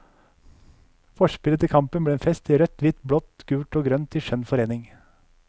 Forspillet til kampen ble en fest i rødt, hvitt, blått, gult og grønt i skjønn forening.